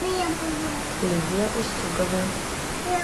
лидия устюгова